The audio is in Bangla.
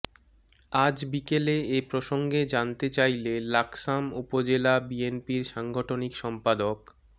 আজ বিকেলে এ প্রসঙ্গে জানতে চাইলে লাকসাম উপজেলা বিএনপির সাংগঠনিক সম্পাদক মো